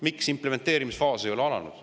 Miks implementeerimisfaas ei ole alanud?